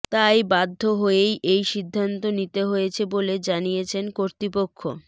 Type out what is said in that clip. তাই বাধ্য হয়েই এই সিদ্ধান্ত নিতে হয়েছে বলে জানিয়েছে কর্তৃপক্ষ